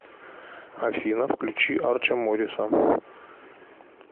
афина включи арчо морриса